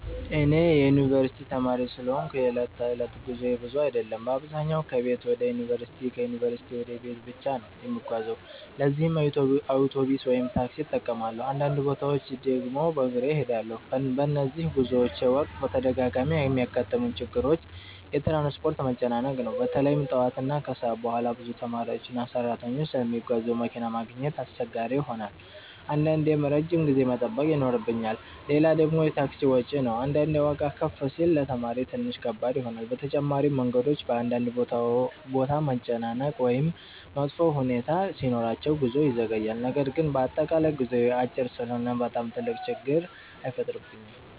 እኔ የዩንቨርሲቲ ተማሪ ስለሆንኩ የዕለት ተዕለት ጉዞዬ ብዙ አይደለም። በአብዛኛው ከቤት ወደ ዩንቨርሲቲ እና ከዩንቨርሲቲ ወደ ቤት ብቻ ነው የምጓዘው ለዚህም አውቶቡስ ወይም ታክሲ እጠቀማለሁ፣ አንዳንድ ቦታዎች ድግም በግሬ እሄዳለሁ። በነዚህ ጉዞዎቼ ወቅት በተደጋጋሚ የሚያጋጥሙኝ ችግሮች የትራንስፖርት መጨናነቅ ነው። በተለይ ጠዋት እና ከሰዓት በኋላ ብዙ ተማሪዎችና ሰራተኞች ስለሚጓዙ መኪና ማግኘት አስቸጋሪ ይሆናል አንዳንዴም ረጅም ጊዜ መጠበቅ ይኖርብኛል። ሌላ ደግሞ የታክሲ ወጪ ነው አንዳንዴ ዋጋ ከፍ ሲል ለተማሪ ትንሽ ከባድ ይሆናል። በተጨማሪም መንገዶች በአንዳንድ ቦታ መጨናነቅ ወይም መጥፎ ሁኔታ ሲኖራቸው ጉዞ ይዘገያል። ነገር ግን በአጠቃላይ ጉዞዬ አጭር ስለሆነ በጣም ትልቅ ችግር አይፈጥርብኝም።